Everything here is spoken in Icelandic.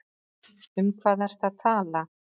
Um hvað ertu að tala?